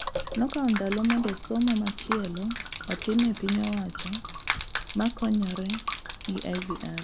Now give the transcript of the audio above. Nokao ndalo mondo somo machielo otim e piny owacho makonyore gi IVR